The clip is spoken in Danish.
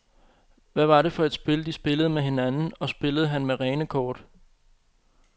Hvad var det for et spil, de spillede med hinanden, og spillede han med rene kort?